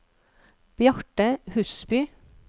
Bjarte Husby